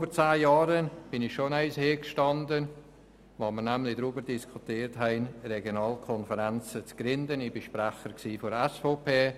Als wir vor über zehn Jahren darüber diskutiert haben, die Regionalkonferenzen zu gründen, stand ich schon einmal hier am Rednerpult.